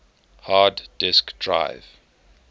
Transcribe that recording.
hard disk drive